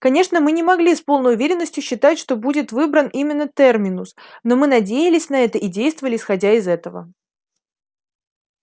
конечно мы не могли с полной уверенностью считать что будет выбран именно терминус но мы надеялись на это и действовали исходя из этого